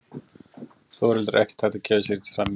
Þórhildur Þorkelsdóttir: Ekkert hægt að gefa sér í því samhengi?